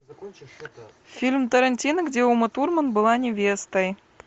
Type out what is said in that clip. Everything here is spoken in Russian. фильм тарантино где ума турман была невестой